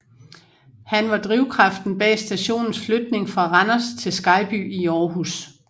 Han var drivkraften bag stationens flytning fra Randers til Skejby i Aarhus